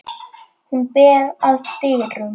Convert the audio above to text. Hún ber að dyrum.